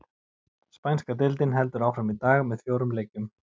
Spænska deildin heldur áfram í dag með fjórum leikjum.